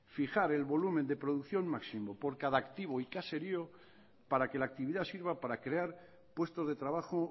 fijar el volumen de producción máximo por cada activo y caserío para que la actividad sirva para crear puestos de trabajo